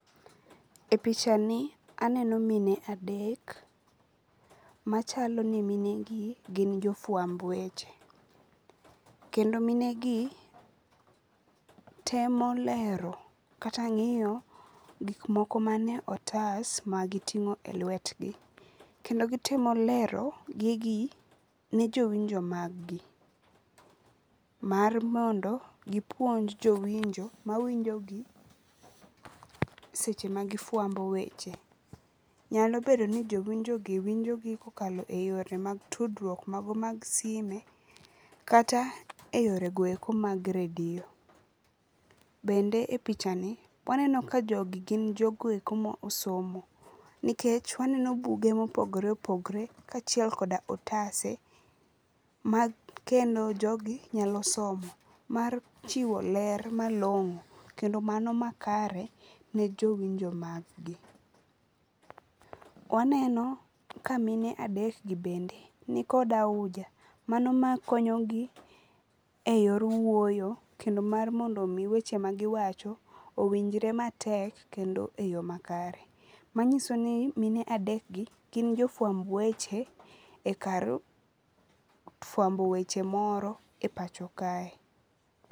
E pichani aneno mine adek machalo ni mine gi gin jofuamb weche, kendo minegi temo lero kata ngiyo gik moko manie otas ma gitingo e lwetgi kendo gitemo lero gigi ne jowinjo mag gi, mar mondo gipuonj jowinjo mag gi mawinjogi seche ma gifwambo weche. Nyalo bedo ni jowinjogi winjogi kokalo e yore mag tudruok mago mag sime kata e yoregoeko mag redio. Bende e pichani waneno ka jogi gin jogoeko ma osomo nikech waneno buge ma opogore opogore kachiel koda otase ma kendo ogi nyalo somo mar chiwo ler malongo kendo mano makare ne jowinjo mag gi. Waneno ka mine adek gi bende nikod auja mano makonyogi e yor wuoyo kendo mar mondo mi weche magiwacho owinjre matek kendo e yoo makare. Manyisoni mine adek gi gin jofuamb weche ekar fuambo weche moro e pacho kae